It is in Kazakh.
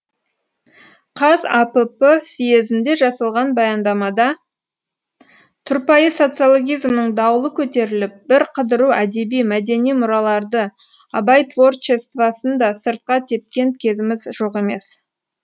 қазапп съезінде жасалған баяндамада тұрпайы социологизмнің дауылы көтеріліп бірқыдыру әдеби мәдени мұраларды абай творчествосын да сыртқа тепкен кезіміз жоқ емес